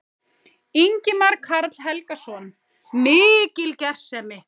Ingimar Karl Helgason: Mikil gersemi?